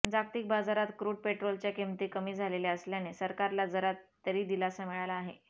जागतिक बाजारात क्रूड पेट्रोलच्या किमती कमी झालेल्या असल्याने सरकारला जरा तरी दिलासा मिळाला आहे